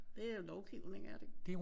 Det er lovgivning er det ikke det?